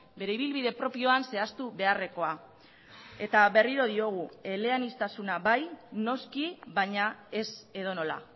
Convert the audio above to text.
bere ibilbide propioan zehaztu beharrekoa eta berriro diogu eleaniztasuna bai noski baina ez edonola